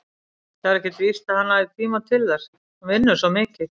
Það er ekkert víst að hann hafi tíma til þess, hann vinnur svo mikið.